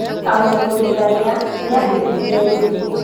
Tamũbundithania nĩahĩtirie rĩngĩ.